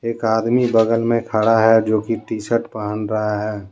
एक आदमी बगल में खड़ा है जो कि टी शर्ट पहन रहा है।